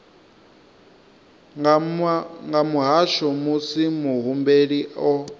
nga muhasho musi muhumbeli o